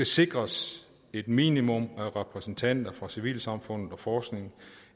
sikres et minimum af repræsentanter fra civilsamfundet og forskningen